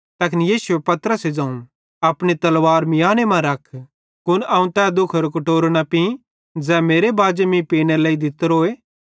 तैखन यीशुए पतरसे ज़ोवं अपनी तलवार मियांने मां रख कुन अवं तै दुखेरो कटोरो न पीं ज़ै मेरे बाजे मीं पीनेरे लेइ दितोए